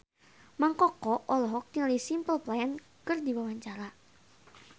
Mang Koko olohok ningali Simple Plan keur diwawancara